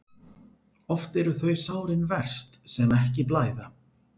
Oft eru þau sárin verst sem ekki blæða.